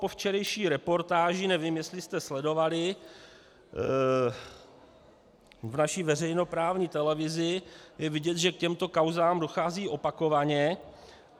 Po včerejší reportáži, nevím, jestli jste sledovali v naší veřejnoprávní televizi, je vidět, že k těmto kauzám dochází opakovaně.